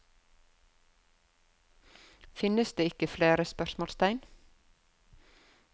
Finnes det ikke flere? spørsmålstegn